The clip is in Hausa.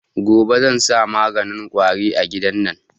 Gobe zan sa maganin kwari a gidan nan